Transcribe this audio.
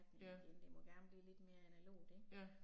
Ja. Ja